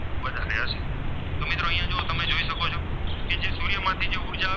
તેમાંથી જે ઉર્જા આવે